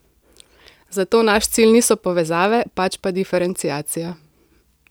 Zato naš cilj niso povezave, pač pa diferenciacija.